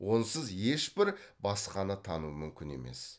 онсыз ешбір басқаны тану мүмкін емес